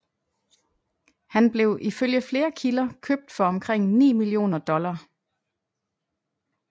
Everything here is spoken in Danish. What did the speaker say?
Han blev ifølge flere kilder købt for omkring 9 millioner dollar